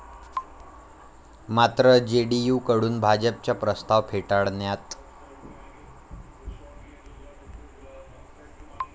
मात्र जेडीयूकडून भाजपचा प्रस्ताव फेटाळण्यात.